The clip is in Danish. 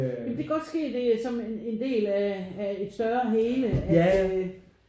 Ja men det kan godt ske som en del af af et større hele at øh